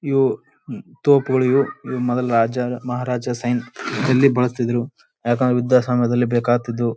ಇವು ತೋಪುಗಳಿವು ಇವು. ಇವು ಮೊದ್ಲ್ ರಾಜ್ಯದ ಮಹಾರಾಜ ಸೈನ್ ಇಲ್ಲಿ ಬಳಸ್ತಿದ್ರು ಯಾಕಂದ್ರೆ ವಿದ್ಯಾ ಸಮಯದಲ್ಲಿ ಬೇಕಾದಿತ್ತು.